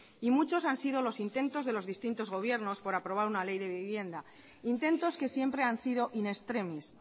y muchos han sido los intentos de los distintos gobiernos por aprobar una ley de vivienda intentos que siempre han sido in extremis